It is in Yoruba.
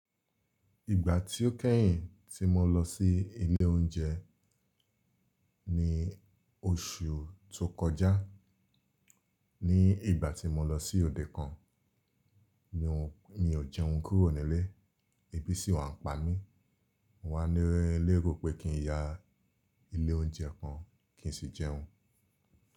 Ìgbà tí ó kẹ́yìn tí mo lọ sí ilé oúnjẹ ní oṣù tó kọjá, ní ìgbà tí mo lọ sí òde kan, mi ò jẹun kúrò nílé, ebi sì wà ń pa mí. Mo wá ní lérò pé kí n ya ilé oúnjẹ kan kí n sì jẹun.